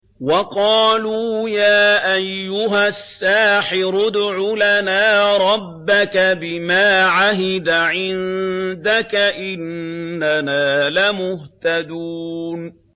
وَقَالُوا يَا أَيُّهَ السَّاحِرُ ادْعُ لَنَا رَبَّكَ بِمَا عَهِدَ عِندَكَ إِنَّنَا لَمُهْتَدُونَ